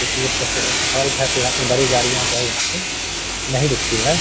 यहाँ पे बड़ी गाड़ियाँ जो है यहाँ पे नहीं रुकती है।